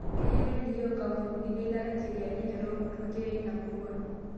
Keyieu neelikio nkampunini eilata ncheriani enye too nkutukie eina murua